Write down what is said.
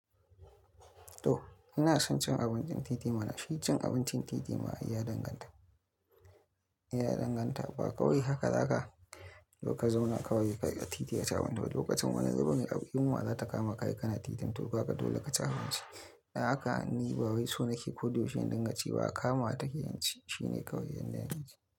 To ina son cin abincin titina, mana shi cin abincin titi ma ai ya danganta, ya danganta ba kawai haka za ka, zauna kawai ka ga titin ya ci abinci ba. Lokacin wani ruɓin ƙa'imuwa za ta kama ka, yi kana titin, to haka dole ka ci abinci. A haka, ni ba wai sunaki ko duk wani danganci ba, kama ta keyinci shine kawai yanayin shi.